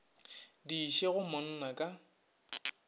di iše go monna ka